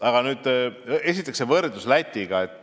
Aga esiteks see võrdlus Lätiga.